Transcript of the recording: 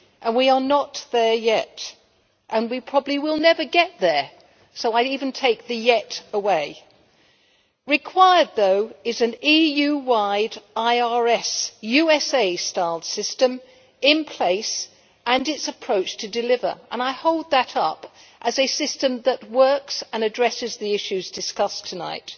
We are not there yet and we probably will never get there, so I even take the yet' away. Required, though, is an EU wide, USA style IRS system in place and its approach to deliver, and I hold that up as a system that works and addresses the issues discussed tonight.